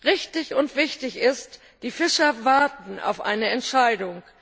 Richtig und wichtig ist, die Fischer warten auf eine Entscheidung.